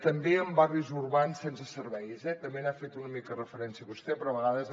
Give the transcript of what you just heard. també en barris urbans sense serveis eh també hi ha fet una mica referència vostè però a vegades